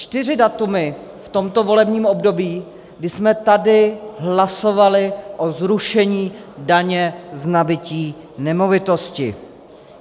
Čtyři data v tomto volebním období, kdy jsme tady hlasovali o zrušení daně z nabytí nemovitosti.